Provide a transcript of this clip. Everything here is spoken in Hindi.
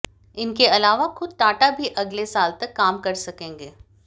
इनके अलावा खुद टाटा भी अगले साल तक काम कर सकेंगे